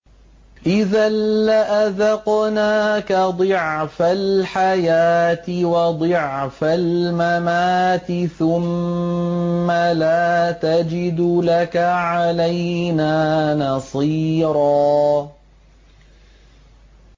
إِذًا لَّأَذَقْنَاكَ ضِعْفَ الْحَيَاةِ وَضِعْفَ الْمَمَاتِ ثُمَّ لَا تَجِدُ لَكَ عَلَيْنَا نَصِيرًا